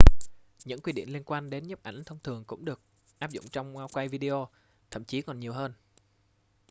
những quy định liên quan đến nhiếp ảnh thông thường cũng được áp dụng trong quay video thậm chí còn nhiều hơn